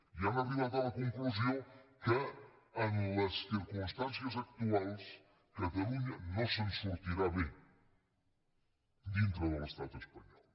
i han arribat a la conclusió que en les circumstàncies actuals catalunya no se’n sortirà bé dintre de l’estat espanyol